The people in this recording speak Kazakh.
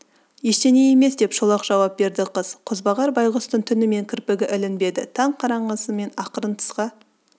ештеме емес деп шолақ жауап берді қыз қозбағар байғұстың түнімен кірпігі ілінбеді таң қараңғысымен ақырын тысқа